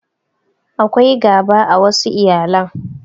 Akwai gaba a wassu iyalan